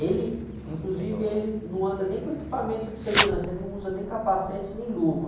Ele, inclusive, ele não anda nem com equipamento de segurança, ele não usa nem capacete, nem luva.